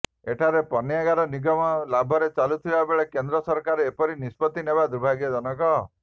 ଏଠାରେ ପଣ୍ୟାଗାର ନିଗମ ଲାଭରେ ଚାଲୁଥିଲାବେଳେ କେନ୍ଦ୍ର ସରକାର ଏପରି ନିଷ୍ପତ୍ତି ନେବା ଦୁର୍ଭାଗ୍ୟଜନକ